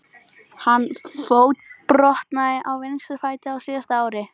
Hann fótbrotnaði á vinstri fæti á síðasta ári.